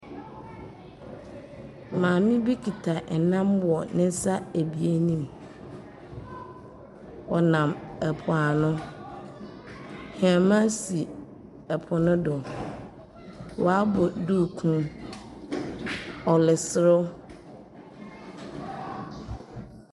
Maame bi kita nnam wɔ ne nsa ebien no mu. Ɔnam po ano. Hɛma si po no do. Wabɔ duukuu. Ɔreserew.